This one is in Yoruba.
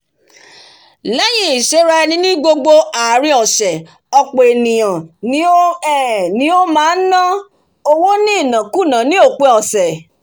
léyìn ìsèrá eni ní gbogb ààrín sè òpò ènìyàn ni ó um máá ná um máá ná owó ní ìnákùná ní òpin òsè